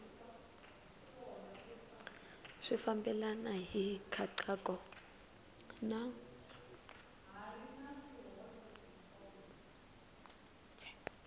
swi fambelena hi nkhaqato na